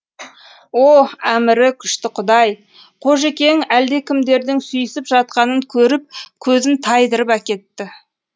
о әмірі күшті құдай қожекең әлдекімдердің сүйісіп жатқанын көріп көзін тайдырып әкетті